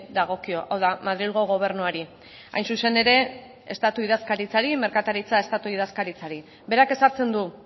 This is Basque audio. dagokio hau da madrilgo gobernuari hain zuzen ere estatu idazkaritzari merkataritza estatu idazkaritzari berak ezartzen du